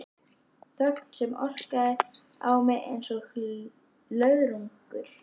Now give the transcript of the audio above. Þögn sem orkaði á mig einsog löðrungur.